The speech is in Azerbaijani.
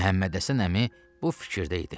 Məhəmmədhəsən əmi bu fikirdə idi.